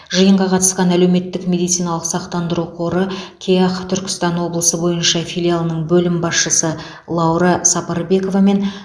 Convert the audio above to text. жиынға қатысқан әлеуметтік медициналық сақтандыру қоры кеақ түркістан облысы бойынша филиалының бөлім басшысы лаура сапарбекова мен